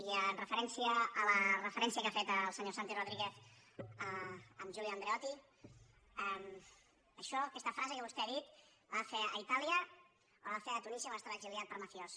i amb referència a la referència que ha fet el senyor santi rodríguez a giulio andreotti això aquesta frase que vostè ha dit la va fer a itàlia o la va fer a tunísia quan estava exiliat per mafiós